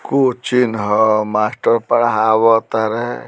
Coaching ह master पढ़ावत तारें।